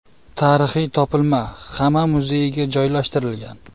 Tarixiy topilma Xama muzeyiga joylashtirilgan.